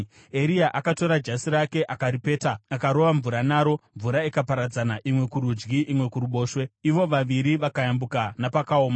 Eria akatora jasi rake akaripeta akarova mvura naro, mvura ikaparadzana, imwe kurudyi, imwe kuruboshwe, ivo vaviri vakayambuka napakaoma.